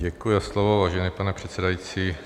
Děkuji za slovo, vážený pane předsedající.